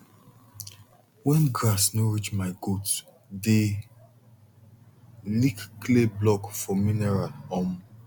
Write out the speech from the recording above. when grass no reach my goat dey lick clay block for mineral um